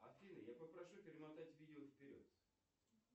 афина я попрошу перемотать видео вперед